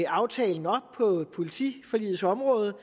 aftalen på politiforligets område